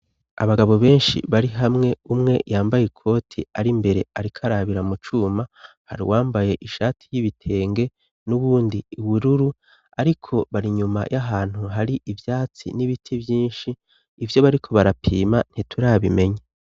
Abagabo benshi bari hamwe umwe yambaye ikoti ari imbere ariko arabira mu cuma, hari uwambaye ishati y'ibitenge n'uwundi ubururu, ariko bari inyuma y'ahantu hari ivyatsi n'ibiti vyinshi, ivyo bariko barapima ntiturabimenye.